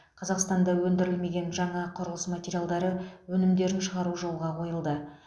қазақстанда өндірілмеген жаңа құрылыс материалдары өнімдерін шығару жолға қойылды